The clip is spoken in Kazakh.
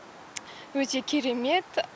өте керемет